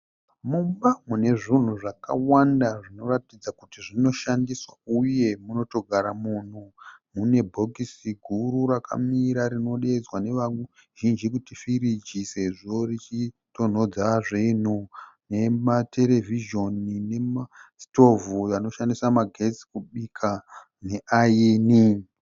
Mumba mune zvinhu zvakawanda zvinoratidza kuti zvinoshandiswa uye munotogara munhu. Mune bhokisi guru rakamira rinodeedzwa neva nevazhinji kuti firigi sezvo richitonhodza zvinhu . Nematerevhizhoni nema nesitovhu anoshandisa magetsi kubika neayini.